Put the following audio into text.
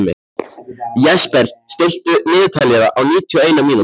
Jesper, stilltu niðurteljara á níutíu og eina mínútur.